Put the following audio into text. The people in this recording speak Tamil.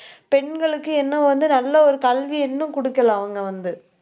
பெண்களுக்கு என்ன வந்து, நல்ல ஒரு கல்வியை இன்னும் கொடுக்கல அவங்க வந்து